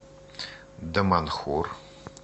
даманхур